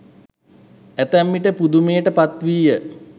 ඇතැම්විට පුදුමයට පත්විය.